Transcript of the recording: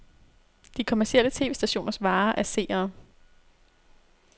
De kommercielle tv-stationers vare er seere.